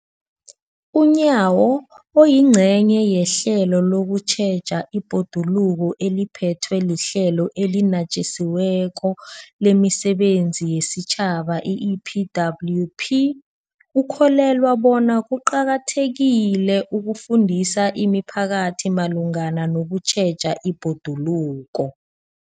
UNyawo, oyingcenye yehlelo lokutjheja ibhoduluko eliphethwe liHlelo eliNatjisi weko lemiSebenzi yesiTjhaba, i-EPWP, ukholelwa bona kuqakathekile ukufundisa imiphakathi malungana nokutjheja ibhoduluko.